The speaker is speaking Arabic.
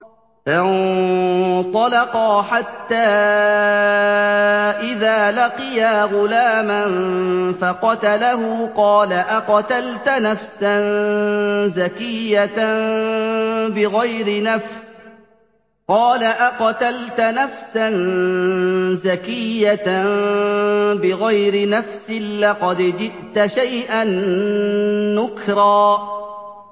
فَانطَلَقَا حَتَّىٰ إِذَا لَقِيَا غُلَامًا فَقَتَلَهُ قَالَ أَقَتَلْتَ نَفْسًا زَكِيَّةً بِغَيْرِ نَفْسٍ لَّقَدْ جِئْتَ شَيْئًا نُّكْرًا